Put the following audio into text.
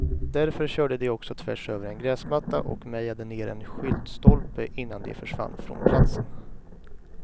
Därför körde de också tvärs över en gräsmatta och mejade ner en skyltstolpe innan de försvann från platsen.